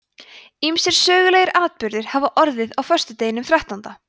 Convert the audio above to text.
ýmsir sögulegir atburðir hafa orðið á föstudeginum þrettánda